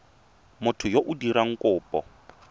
motho yo o dirang kopo